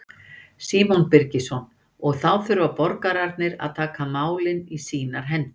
Símon Birgisson: Og þá þurfa borgararnir að taka málin í sínar hendur?